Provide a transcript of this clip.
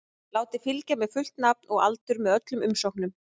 Látið fylgja með fullt nafn og aldur með öllum umsóknum.